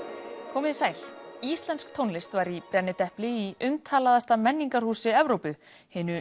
komiði sæl íslensk tónlist var í brennidepli í umtalaðasta menningarhúsi Evrópu hinu